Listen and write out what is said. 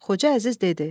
Xoca Əziz dedi: